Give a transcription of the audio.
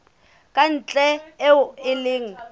ka ntle eo e leng